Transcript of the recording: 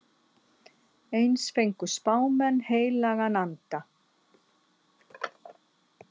Eins fengu spámenn heilagan anda.